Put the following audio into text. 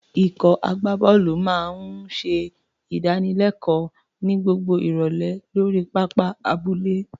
Ikọ̀ agbábọ́ọ̀lù náà máa ń ṣe ìdánilẹ́kọ̀ọ́ ní gbogbo ìrọ̀lẹ́ lórí pápá abúlé.